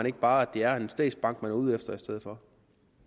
ikke bare at det er en statsbank man er ude efter i stedet for